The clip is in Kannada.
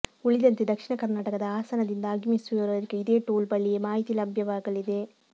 ಉಳಿದಂತೆ ದಕ್ಷಿಣ ಕರ್ನಾಟಕದ ಹಾಸನದಿಂದ ಆಗಮಿಸುವವರಿಗೂ ಇದೇ ಟೋಲ್ ಬಳಿಯೇ ಮಾಹಿತಿ ಲಭ್ಯವಾಗಲಿದೆ